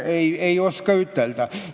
Ei oska öelda.